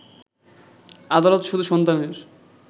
আদালত শুধু সন্তানের